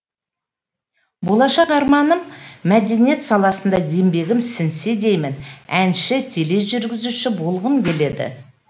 болашақ арманым мәдениет саласына еңбегім сіңсе деймін әнші тележүргізуші болғым келеді